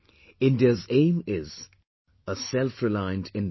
India's aim is a selfreliant India